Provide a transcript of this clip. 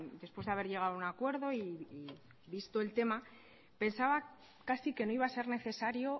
después de haber llegado a un acuerdo y visto el tema pensaba casi que no iba a ser necesario